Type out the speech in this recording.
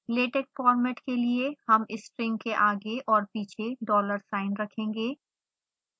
latex format के लिए हम string के आगे और पीछे dollar sign रखेंगे